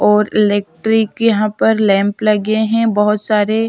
और इलेक्ट्रिक यहाँ पर लैंप लगे हुए हैं बहुत सारे --